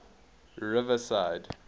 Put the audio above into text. riverside